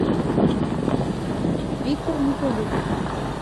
виктор николюк